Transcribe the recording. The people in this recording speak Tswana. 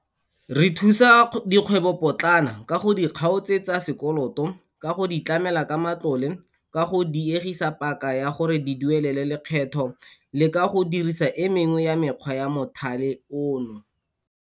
Re thusa dikgwebopotlana ka go di kgaotsetsa sekoloto, ka go di tlamela ka matlole, ka go diegisa paka ya gore di duelele lekgetho le ka go dirisa e mengwe ya mekgwa ya mothale ono.